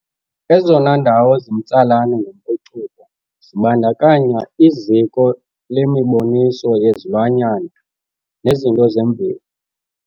Ezona ndawo zimtsalane ngempucuko zibandakanya i ziko lemiboniso yezilwanyana nezinto zemveli